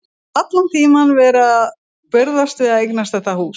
Og allan tímann verið að burðast við að eignast þetta hús.